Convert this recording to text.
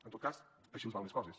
en tot cas així els van les coses